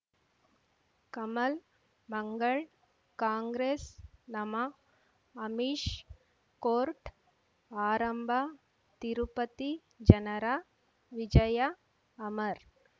ಕಮಲ್ ಮಂಗಳ್ ಕಾಂಗ್ರೆಸ್ ನಮಃ ಅಮಿಷ್ ಕೋರ್ಟ್ ಆರಂಭ ತಿರುಪತಿ ಜನರ ವಿಜಯ ಅಮರ್